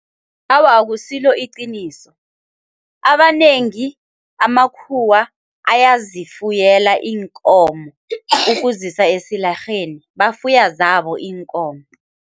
Awa, akusilo iqiniso abanengi amakhuwa ayazifuyela iinkomo ukuzisa esilarheni, bafuya zabo iinkomo.